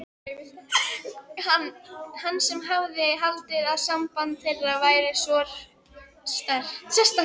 Hann sem hafði haldið að samband þeirra væri svo sérstakt.